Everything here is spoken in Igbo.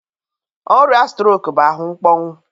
Ọrịa strok bụ ahụ mkpọnwụ